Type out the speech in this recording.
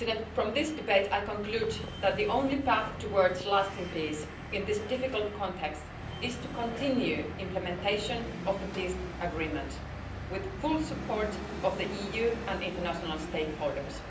From this debate I conclude that the only path towards lasting peace in this difficult context is to continue implementation of the peace agreement with full support of the EU and international stakeholders.